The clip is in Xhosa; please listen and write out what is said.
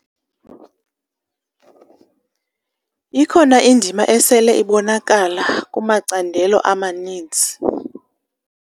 Ikhona indima esele ibonakala kumacandelo amaninzi.